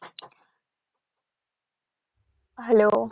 hello